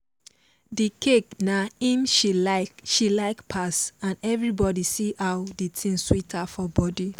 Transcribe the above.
the cake na im she like she like pass and everybody see how the thing sweet her for body